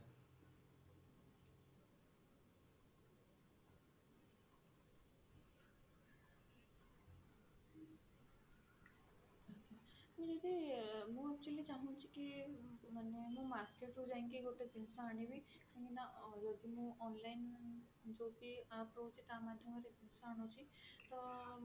ଆମେ ଯଦି ମୁଁ actually ଚାହୁଁଛି କି ମାନେ ମୁଁ market ରୁ ଯାଇକି ଗୋଟେ ଜିନିଷ ଆଣିବି ଯଦି ମୁଁ online ଜାଡ୍ୟ app ରୁ କି amazon ରୁ ଆଣୁଛି ତ